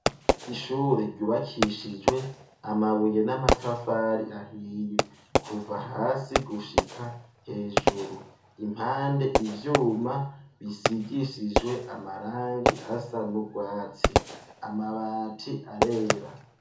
Ishure ryubakishijwe amabuye n'amatafari ahiye kuva hasi gushika hejuru impande ivyuma bisigishijwe amarangi asa n'urwatsi amabati arera.